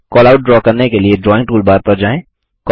callout draw करने के लिएDrawing टूलबार पर जाएँ